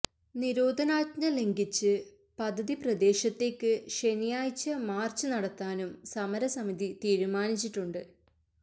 നിരോധനാജ്ഞ ലംഘിച്ച് പദ്ധതി പ്രദേശത്തേക്ക് ശനിയാഴ്ച മാർച്ച് നടത്താനും സമരസമിതി തീരുമാനിച്ചിട്ടുണ്ട്